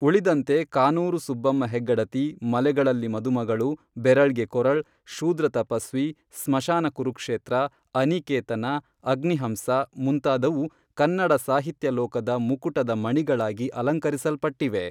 ಉಳಿದಂತೆ ಕಾನೂರು ಸುಬ್ಬಮ್ಮ ಹೆಗ್ಗಡತಿ ಮಲೆಗಳಲ್ಲಿ ಮದುಮಗಳು, ಬೆರಳ್ಗೆ ಕೊರಳ್, ಶೂದ್ರ ತಪಸ್ವಿ, ಸ್ಮಶಾನ ಕುರುಕ್ಷೇತ್ರ, ಅನಿಕೇತನ, ಅಗ್ನಿಹಂಸ, ಮುಂತಾದವು ಕನ್ನಡ ಸಾಹಿತ್ಯ ಲೋಕದ ಮುಕುಟದ ಮಣಿಗಳಾಗಿ ಅಲಂಕರಿಸಲ್ಪಟ್ಟಿವೆ